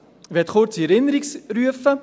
Ich möchte kurz in Erinnerung rufen: